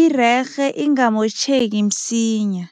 irerhe ingamotjheki msinya.